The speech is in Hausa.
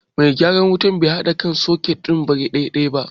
Mai gyaran wutan bai haɗa sakut birekan daidai ba